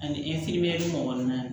Ani kɔnɔna na